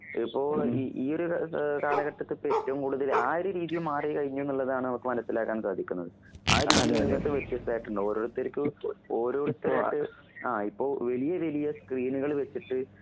ഇപ്പോൾ ഇഈയൊര് ഏഹ് കാലഘട്ടത്തിപ്പ് ഏറ്റവുംകൂടുതൽ ആയൊരീതിയുംമാറീ കഴിഞ്ഞൂന്നുള്ളതാണ് അവക്ക് മനസ്സിലാക്കാൻസാധിക്കുന്നത്. ആഒരുരീതി മുന്നോട്ടു വച്ചിട്ടായിട്ടുണ്ടാവും ഓരോരുത്തർക്ക് ഓരോരുത്തരായിട്ട് ആ ഇപ്പൊ വലിയവലിയ സ്‌ക്രീനുകൾവെച്ചിട്ട്